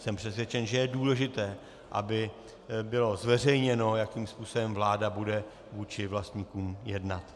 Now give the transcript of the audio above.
Jsem přesvědčen, že je důležité, aby bylo zveřejněno, jakým způsobem vláda bude vůči vlastníkům jednat.